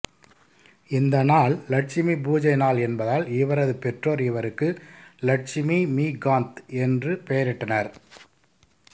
இந்த நாள் லட்சுமி பூஜை நாள் என்பதால் இவரது பெற்றோர் இவருக்கு இலட்சுமிமிகாந்த் என்று பெயரிட்டனர்